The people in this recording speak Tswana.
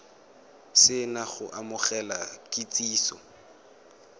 se na go amogela kitsiso